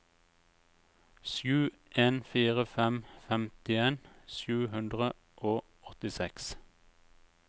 sju en fire fem femtien sju hundre og åttiseks